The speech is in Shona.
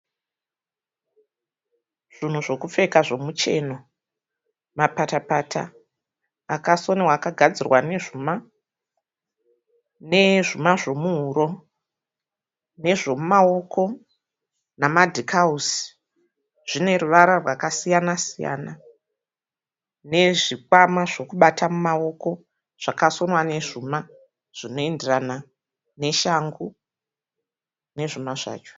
Zvinhu zvekupfeka zvemucheno. Mapatapata akasonwa akagadzirwa nezvuma nezvuma zvemuhuro nezvomumaoko nemadhikauzi. Zvineruvara rwakasiyana siyana nezvikwama zvekubata mumaoko zvakasonwa nezvuma zvinoenderana neshangu nezvuma zvacho.